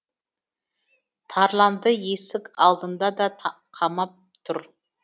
тарланды есік алдында да қамап тұр